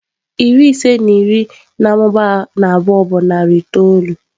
Iri ise na iri na-amụba na abụọ bụ narị itoolu.